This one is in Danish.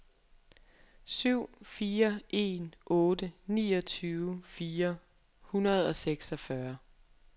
syv fire en otte niogtyve fire hundrede og seksogfyrre